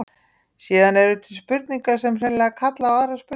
Síðan eru til spurningar sem hreinlega kalla á aðrar spurningar.